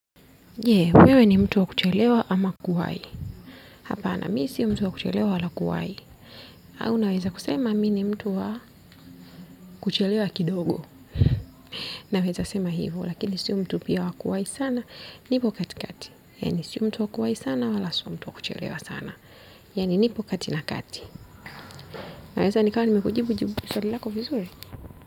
Je, wewe ni mtu wa kuchelewa ama kuwahi? Hapana, mimi si mtu wa kuchelewa wala kuwahi. Au naweza kusema, mimi ni mtu wa kuchelewa kidogo. Naweza sema hivo, lakini si mtu pia wa kuwahi sana, nipo katikati. Yaani, si mtu wa kuwahi sana wala si mtu wa kuchelewa sana. Yaani nipo kati na kati. Naweza, nikawa nimekujibu jibu swali lako vizuri.